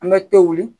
An bɛ to wuli